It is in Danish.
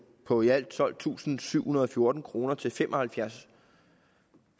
på i alt tolvtusinde og syvhundrede og fjorten kroner til fem og halvfjerds